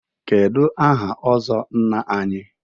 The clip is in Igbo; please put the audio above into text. Kedu aha ọzọ Nna anyị?